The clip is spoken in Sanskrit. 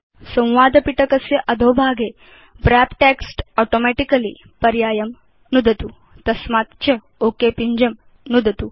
संवादपिटकस्य अधोभागे व्रप् टेक्स्ट् ऑटोमेटिकली पर्यायं नुदतु तस्मात् च ओक पिञ्जं नुदतु